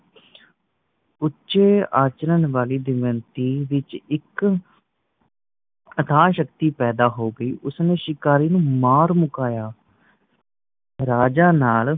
ਉੱਚੇ ਆਚਰਣ ਵਾਲੀ ਦਮਯੰਤੀ ਵਿੱਚ ਇੱਕ ਅਥਾਹ ਸ਼ਕਤੀ ਪੈਦਾ ਹੋ ਗਈ ਉਸਨੇ ਸ਼ਿਕਾਰੀ ਨੂੰ ਮਾਰ ਮੁਕਾਇਆ ਰਾਜਾ ਨੱਲ